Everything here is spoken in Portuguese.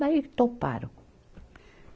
Daí toparam.